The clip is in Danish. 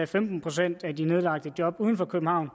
femten procent af jobbene uden for københavn